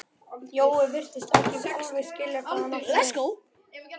Jói virtist ekki alveg skilja hvað hann átti við.